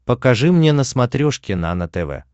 покажи мне на смотрешке нано тв